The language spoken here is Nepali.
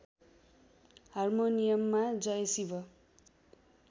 हार्मोनियममा जय शिव